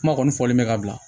Kuma kɔni fɔlen bɛ ka bila